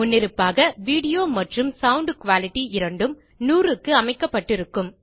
முன்னிருப்பாக வீடியோ மற்றும் sound quality இரண்டும் 100 க்கு அமைக்கப்பட்டிருக்கும்